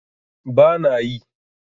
ba na yi